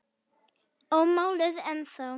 Ómáluð ennþá.